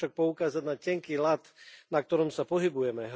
Chcem však poukázať na tenký ľad, na ktorom sa pohybujeme.